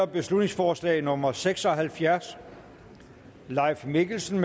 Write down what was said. beslutningsforslag nummer b seks og halvfjerds leif mikkelsen